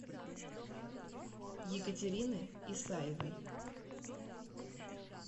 екатерины исаевой